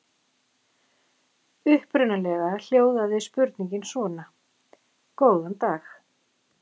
Upprunalega hljóðaði spurningin svona: Góðan dag.